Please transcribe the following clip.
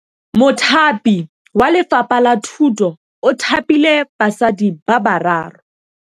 Mothapi wa Lefapha la Thutô o thapile basadi ba ba raro.